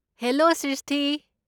Hello Srishti!